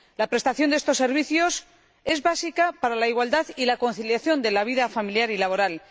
La prestación de estos servicios es básica para la igualdad y la conciliación de la vida familiar y laboral.